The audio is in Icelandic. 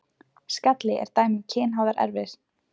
Skalli er dæmi um kynháðar erfðir.